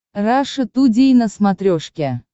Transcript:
раша тудей на смотрешке